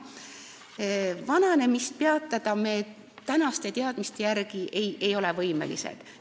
Vananemist peatama ei ole me tänaste teadmiste järgi võimelised.